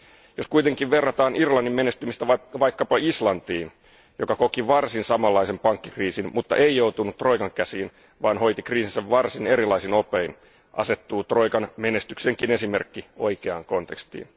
Jos kuitenkin verrataan Irlannin menestymistä vaikkapa Islantiin, joka koki varsin samanlaisen pankkikriisin, mutta ei joutunut troikan käsiin, vaan hoiti kriisinsä varsin erilaisin opein, asettuu troikan menestyksenkin esimerkki oikeaan kontekstiin.